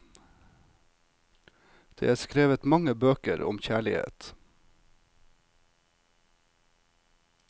Det er skrevet mange bøker om kjærlighet.